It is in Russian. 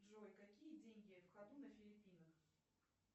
джой какие деньги в ходу на филиппинах